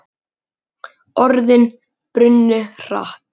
Orðin brunnu hratt.